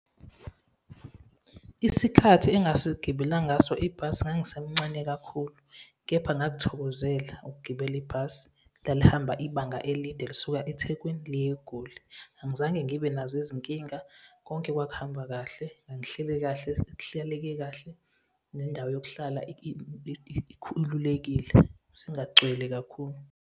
Isikhathi engasigibela ngaso ibhasi, ngangisemcane kakhulu, kepha ngakuthokozela ukugibela ibhasi. Lalihamba ibanga elide lisuka ethekwini liya eGoli, angizange ngibe nazo izinkinga. Konke kwakuhamba kahle, ngangihleli kahle, kuhlaleke kahle, nendawo yokuhlala ikhululekile, singagxili kakhulu.